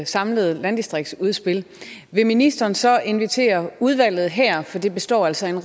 samlet landdistriktsudspil vil ministeren så invitere udvalget her for det består altså af